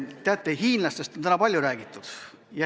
Teate, hiinlastest on täna palju räägitud.